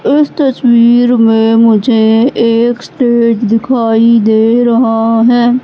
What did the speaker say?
इस तस्वीर में मुझे एक स्टेज दिखाई दे रहा है।